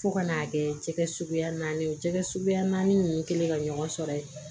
Fo ka n'a kɛ jɛgɛ suguya naani jɛgɛ suguya naani ninnu kɛlen ka ɲɔgɔn sɔrɔ ye